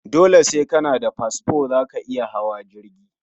Dole sai kana da fasfo zaka iya hawa jirgi